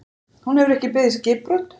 Heimir: Hún hefur ekki beðið skipbrot?